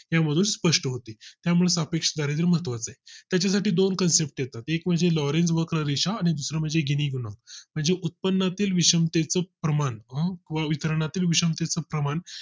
यामधून स्पष्ट होते त्यामुळे सापेक्ष दारिद्य महत्व्वाच आहे त्याच्यासाठ दोन Concept येतात एक म्हणजे Law range वक्ररेषा आणि दुसरे म्हणजे गिनी गुणवं, म्हणजे माझी उत्पन्नातील विषमतेचे प्रमाण वितरणतील विषमताचं प्रमाण